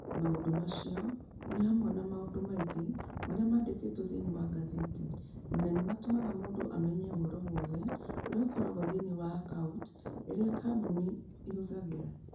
Maũndũ macio nĩ hamwe na maũndũ maingĩ marĩa mandĩkĩtwo thĩinĩ wa ngathĩti, na nĩ matũmaga mũndũ amenye ũhoro wothe ũrĩa ũkoragwo thĩinĩ wa akaunti iria kambuni ihũthagĩra.